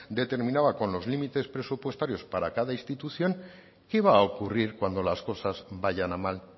determinaba con los límites presupuestarios para cada institución qué va a ocurrir cuando las cosas vayan a mal